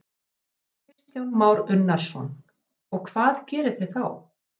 Kristján Már Unnarsson: Og hvað gerið þið þá?